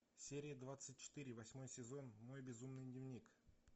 серия двадцать четыре восьмой сезон мой безумный дневник